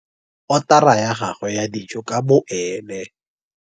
Otara ya gagwe ya dijo ka boene.